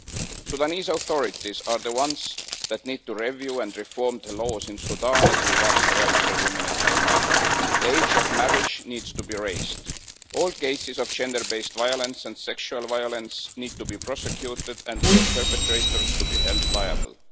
The Sudanese authorities are the ones that need to review and reform the laws in Sudan as regards the rights of women and children. The age of marriage needs to be raised. All cases of gender-based violence and sexual violence need to be prosecuted and their perpetrators held liable.